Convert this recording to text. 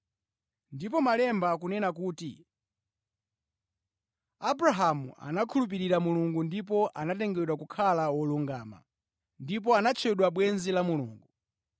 Ndipo Malemba akunena kuti, “Abrahamu anakhulupirira Mulungu ndipo anatengedwa kukhala wolungama,” ndipo anatchedwa bwenzi la Mulungu.